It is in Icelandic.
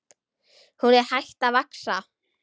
Hún er hætt að vaxa!